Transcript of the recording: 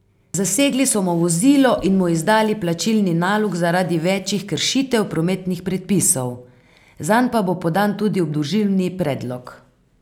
Zasegli so mu vozilo in mu izdali plačilni nalog zaradi večih kršitev prometnih predpisov, zanj pa bo podan tudi obdolžilni predlog.